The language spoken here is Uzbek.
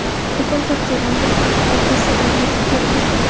Bugun Turkiyadan bir guruh professorlar yetib keladi.